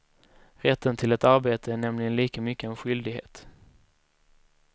Rätten till ett arbetet är nämligen lika mycket en skyldighet.